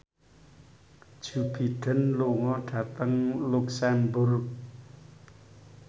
Joe Biden lunga dhateng luxemburg